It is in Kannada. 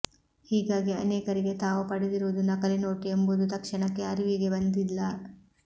ಹೀಗಾಗಿ ಅನೇಕರಿಗೆ ತಾವು ಪಡೆದಿರುವುದು ನಕಲಿ ನೋಟು ಎಂಬುದು ತಕ್ಷಣಕ್ಕೆ ಅರಿವಿಗೆ ಬಂದಿಲ್ಲ